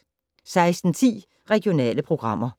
16:10: Regionale programmer